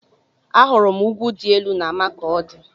Ahụrụ m ugwu dị elu na Makọdi